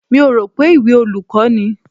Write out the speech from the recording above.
Mi ò rò pé ìwé olùkọ́ ni.